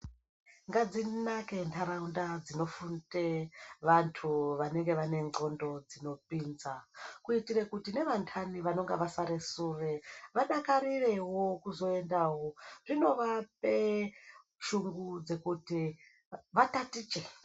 Ngadzinake ndarawunda dzinofunde vantu vanenge vanengxondo dzinopinza, kuyitire kuti nevandani vanonge vasare sure, vadakarirewo kuzoyendawo. Zvinovape shungu dzekuti vatatiche.